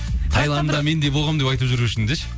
тайландыңда мен де болғанмын деп айту жүру үшін деші